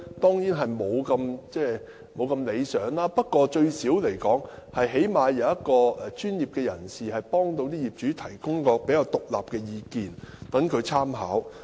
成效當然不會太理想，但最低限度有專業人士幫助業主，提供比較獨立的意見，作為參考。